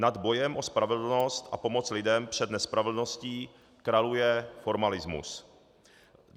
Nad bojem o spravedlnost a pomoct lidem před nespravedlností kraluje formalismus.